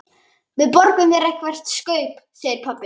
Við borgum þér eitthvert kaup, segir pabbi.